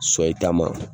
So i ta ma